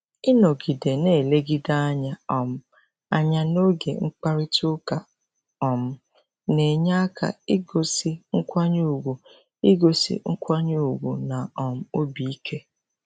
Ịnọgide na-elegide anya um anya n'oge mkparịta ụka um na-enye aka igosi nkwanye ùgwù igosi nkwanye ùgwù na um obi ike.